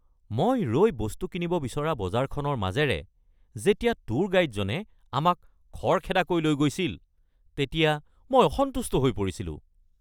মই ৰৈ বস্তু কিনিব কৰিব বিচৰা বজাৰখনৰ মাজেৰে যেতিয়া ট্যুৰ গাইডজনে আমাক খৰখেদাকৈ লৈ গৈছিল তেতিয়া মই অসন্তুষ্ট হৈ পৰিছিলোঁ।